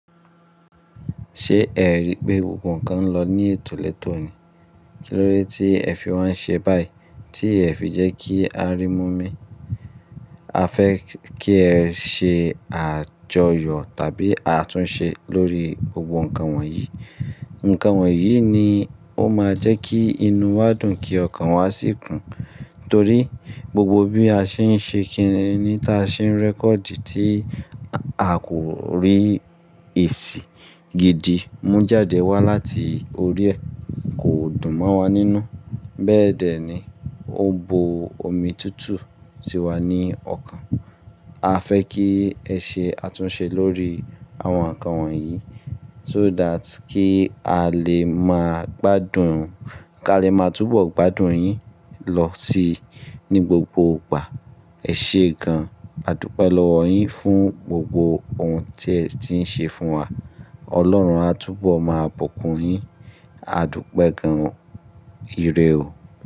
Ṣé ẹ rí pé gbogbo nkan lọ ní ètò lẹ́tò ni? Kí ló dé tí ẹ fi wá ń ṣe báyìí tí ẹ fi jẹ́ kí a rí mú mi? A fẹ́ kí ẹ ṣe àjọyọ̀ tàbí àtúnṣe lórí gbogbo ǹkan wọ̀nyí. Ǹkan wọ̀nyí ni ó máa jẹ́ kí inú wa dùn kí ọkàn wa sì kún. Nítorí gbogbo bí a ṣe ń ṣe kíni ní ta ṣe ń record tí a kò rí èsì gidi mú jáde wá láti orí ẹ kò dùn mọ́ wa nínú. Bẹ́ẹ̀dẹ́ ni ó bo omi tútù sí wa ní ọkàn. A fẹ́ kí ẹ ṣe àtúnṣe lórí àwọn ǹkan wọ̀nyí so that kí a lè máa gbádùn, kí a lè máa túbọ̀ gbádùn yín lọ síi ní gbogbo ìgbà. Ẹ ṣe gan-an, àdúgbẹ̀ lọ́wọ́ yín fún gbogbo ohun tí ẹ ti ń ṣe fún wa. Ọlọ́run á túbọ̀ máa bùkún yín, àdúpẹ̀ gan-an o, ìrè o.